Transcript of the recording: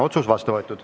Otsus on vastu võetud.